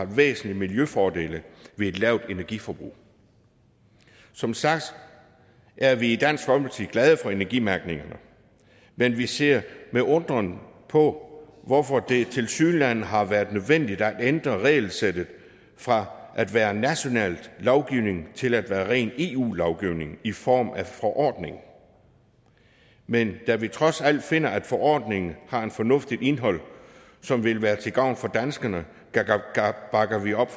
væsentlige miljøfordele ved et lavt energiforbrug som sagt er vi i dansk folkeparti glade for energimærkningen men vi ser med undren på hvorfor det tilsyneladende har været nødvendigt at ændre regelsættet fra at være national lovgivning til at være ren eu lovgivning i form af en forordning men da vi trods alt finder at forordningen har et fornuftigt indhold som vil være til gavn for danskerne bakker vi op